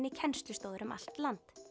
í kennslustofur um allt land